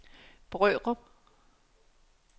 Brørup